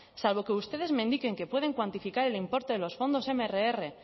salvo que ustedes me indiquen que pueden cuantificar el importe de los fondos mrr